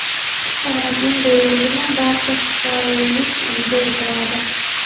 Karantin deyildimi barcha xitoylik uyda o‘tiradi.